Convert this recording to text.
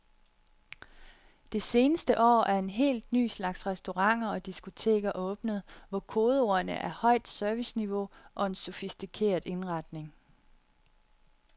Det seneste år er en helt ny slags restauranter og diskoteker åbnet, hvor kodeordene er højt serviceniveau og en sofistikeret indretning.